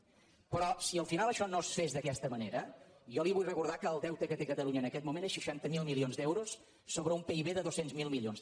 però si al final això no es fes d’aquesta manera jo li vull recordar que el deute que té catalunya en aquest moment són seixanta miler milions d’euros sobre un pib de dos cents miler milions